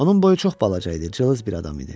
Onun boyu çox balaca idi, cılız bir adam idi.